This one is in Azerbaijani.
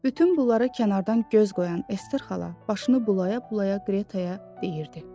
Bütün bunlara kənardan göz qoyan Ester xala başını bulaya-bulaya Qretaya deyirdi: